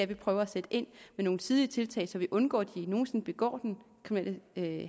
vi prøver at sætte ind med nogle tidlige tiltag så vi undgår at de nogen sinde begår den kriminelle